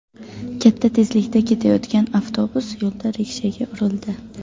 Katta tezlikda ketayotgan avtobus yo‘lda rikshaga urildi.